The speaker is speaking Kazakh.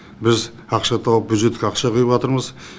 біз ақша тауып бюджетке ақша құйыватырмыз